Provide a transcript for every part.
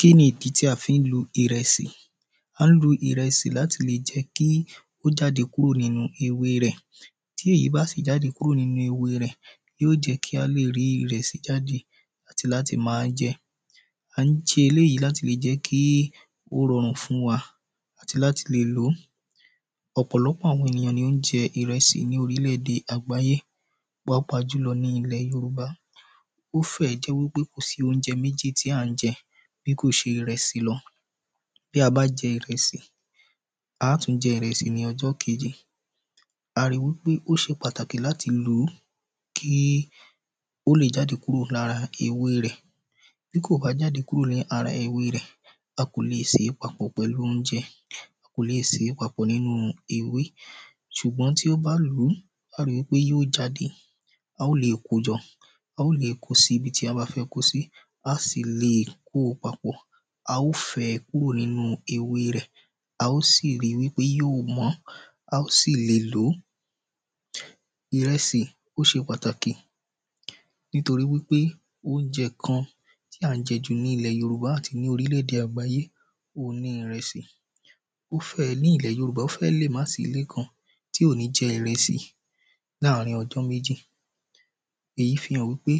kínní idi ti a fi n lu irẹsi? a ni lu irẹsi lati le jẹ ko jade kuro nínú ewé rẹ. ti èyí ba si jade ninu ewé rẹ lo jẹ ki a le ri irẹsi jade ati láti ma jẹ. a n ṣe eleyi láti le jẹ ki o rọrun fún wa àti láti le lo. ọpọlọpọ àwọn ènìyàn ni o n jẹ irẹsi ni orilẹ-ède àgbáyé. pàápàá julọ ni ilẹ Yorùbá. o fe jẹ pe ko si ounjẹ méjì ti a n jẹ bi ko se irẹsi lọ bi a bá jẹ irẹsi a tun jẹ irẹsi ni ọjọ keji. a ri wipe o se pàtàkì lati lu ko le jade lara ewé rẹ. bi ko ba jade kuro lara ewé rẹ a ko le se papọ̀ pẹlú oúnjẹ. a ko le se papọ̀ nínú ewé ṣùgbọ́n ti o ba lu a o ri pe yóò jáde a o le ko jọ. a o le ko si ibi ti a ba fẹ ko si. a o si lè kó papọ̀. a o fẹ kuro ninu ewé rẹ a o sì rí wipe yo mọ. a o sì le lo. Irẹsi o ṣe pàtàkì nitoripe oúnjẹ kan ti a n jẹ ju ni ilẹ Yorùbá àti orilẹ-ède agbaye ohùn ni irẹsi o fẹ ni ilẹ Yorùbá o fẹ le ma si Ile kan ti o ni jẹ iresi láàrin ọdún meji eyi fi hàn pé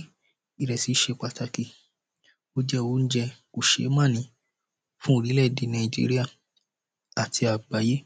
irẹsi se pàtàkì. O jẹ oúnjẹ kosemani fún orilẹ-ede Naijiria ati àgbáyé